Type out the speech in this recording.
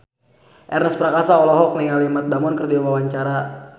Ernest Prakasa olohok ningali Matt Damon keur diwawancara